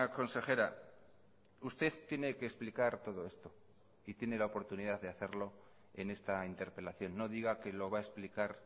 consejera usted tiene que explicar todo esto y tiene la oportunidad de hacerlo en esta interpelación no diga que lo va a explicar